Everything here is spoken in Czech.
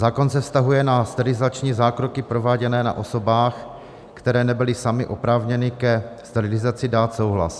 Zákon se vztahuje na sterilizační zákroky prováděné na osobách, které nebyly samy oprávněny ke sterilizaci dát souhlas.